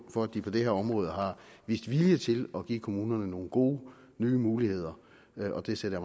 for at de på det her område har vist vilje til at give kommunerne nogle gode nye muligheder og det sætter